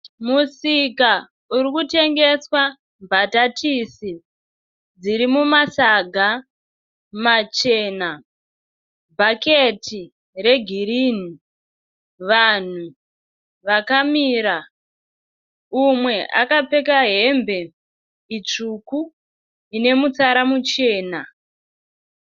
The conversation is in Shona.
Musika urikutengeswa mbatatisi dzirimumasaga machena. Bhaketi regirini. Vanhu vakamira. Umwe akapfeka hembe itsvuku ine mutsara muchena.